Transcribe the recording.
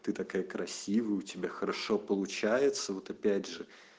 ты такая красивая у тебя хорошо получается вот опять же